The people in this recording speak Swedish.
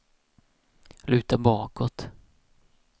luta bakåt